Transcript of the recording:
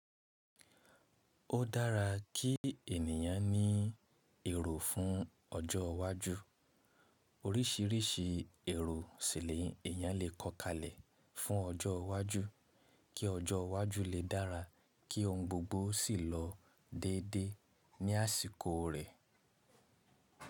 Ó dára kí ènìyàn ní èrò fún ọjọ́ iwájú. Orísìírísìí èrò si ni eèyán lè kọ́ kalẹ̀ fún ọjọ́ iwájú, kí ọjọ́ iwájú lè dára kí ohun gbogbo sì lọ déédé ní àsìkò rẹ̀.